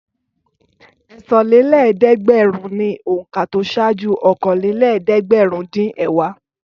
Ẹ̀sanlélẹ́ẹ̀dẹ́gbẹ̀rún ni òǹkà tó ṣáájú okòólélẹ́ẹ̀dẹ́gbẹ̀rúndínẹ̀wá.